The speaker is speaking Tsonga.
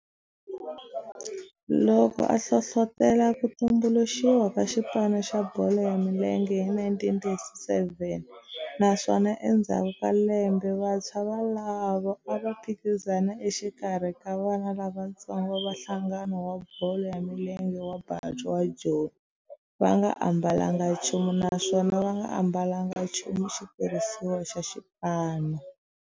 Loko a hlohlotela ku tumbuluxiwa ka xipano xa bolo ya milenge hi 1937 naswona endzhaku ka lembe vantshwa volavo a va phikizana exikarhi ka vana lavatsongo va nhlangano wa bolo ya milenge wa Bantu wa Joni va nga ambalanga nchumu naswona va nga ambalanga nchumu xitirhisiwa xa xipano.